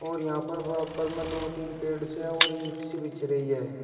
और यहां पर बराबर में दो तीन पेड़ से और ईट सी बिछ रही है।